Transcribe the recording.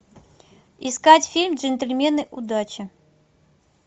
искать фильм джентельмены удачи